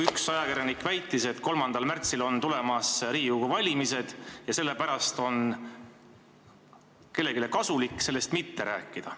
Üks ajakirjanik väitis, et 3. märtsil on tulemas Riigikogu valimised ja sellepärast on kellelegi kasulik sellest mitte rääkida.